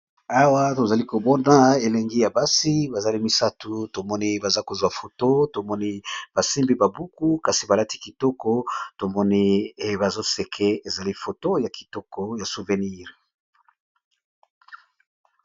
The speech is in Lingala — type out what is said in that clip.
Awa tozali komona elenge ya basi misatu tomoni baza kozuwa ba foto basimbi ba buku baza kitoko bazo seka bazwi foto ya souvenir.